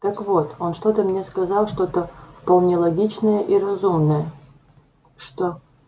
так вот он что-то мне сказал что-то вполне логичное и разумное что